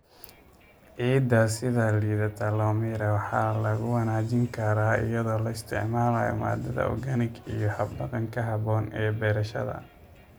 Ciidda sida liidata loo miiray waxa lagu wanaajin karaa iyadoo la isticmaalayo maadada organic iyo hab-dhaqanka habboon ee beerashada.